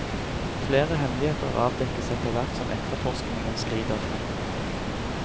Flere hemmeligheter avdekkes etterhvert som etterforskningen skrider frem.